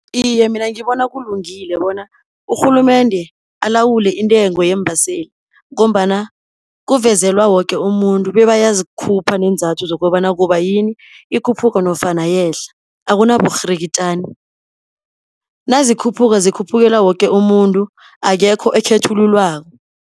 Iye mina ngibona kulungile bona urhulumende alawule intengo yeembaseli, ngombana kuvezelwa woke umuntu, bebayazikhupha neenzathu zokobana kubayini ikhuphuka, nofana yehla, akunaburhirikitjani Nazikhuphuka zikhuphukela woke umuntu, akekho ekhethululwako